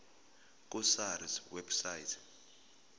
ku sars website